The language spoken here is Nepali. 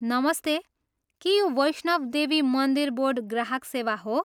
नमस्ते! के यो वैष्णव देवी मन्दिर बोर्ड ग्राहक सेवा हो?